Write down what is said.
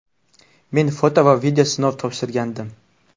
Men foto va video sinov topshirgandim.